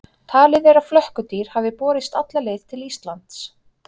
Talið er að flökkudýr hafi borist alla leið til Íslands.